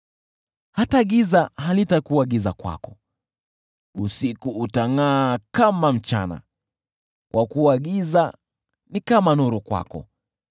hata giza halitakuwa giza kwako, usiku utangʼaa kama mchana, kwa kuwa giza ni kama nuru kwako.